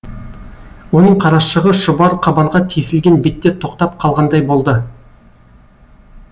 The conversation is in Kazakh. оның қарашығы шұбар қабанға тесілген бетте тоқтап қалғандай болды